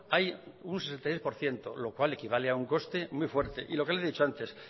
hay un sesenta y seis por ciento lo cual equivale a un coste muy fuerte y lo que le he dicho antes